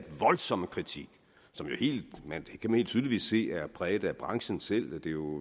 voldsomme kritik som man helt tydeligt kan se er præget af branchen selv